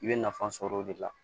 I bɛ nafa sɔrɔ o de la